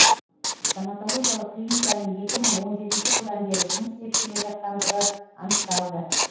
стоматологиялық клиниканың екі мың он жетінші жылдан бері жұмыс істеп келе жатқандығы анықталды